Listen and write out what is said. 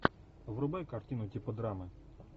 врубай картину типа драмы